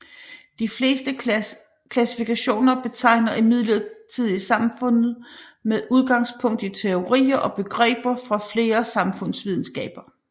De fleste klassifikationer betegner imidlertid samfundene med udgangspunkt i teorier og begreber fra flere samfundsvidenskaber